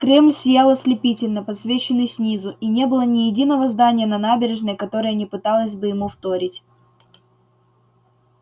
кремль сиял ослепительно подсвеченный снизу и не было ни единого здания на набережной которое не пыталось бы ему вторить